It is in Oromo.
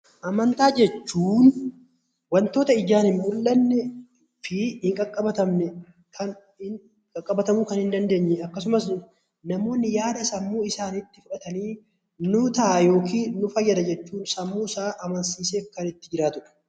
Amantaa jechuun wantoota ijaan hin mul'annee fi hin qaqqabatamne akkasumas namoonni yaada sammuu isaanii nu fayyada jechuun sammuu isaa amansiisee kan itti jiraatudha.